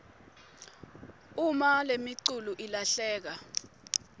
uma lemiculu ilahleka